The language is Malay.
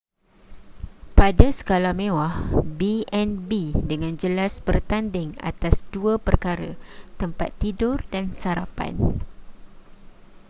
pada skala mewah b&b dengan jelas bertanding atas dua perkara tempat tidur dan sarapan